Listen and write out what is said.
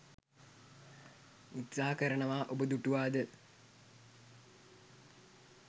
උත්සාහ කරනවා ඔබ දුටුවාද?